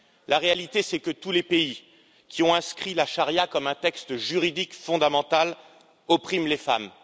La réalité, c'est que tous les pays qui ont inscrit la charia comme un texte juridique fondamental oppriment les femmes.